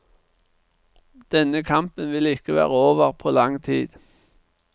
Denne kampen vil ikke være over på lang tid.